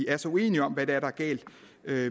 er så uenige om hvad det er der er galt